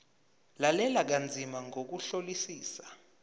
lalela kanzima ngokuhlolisisa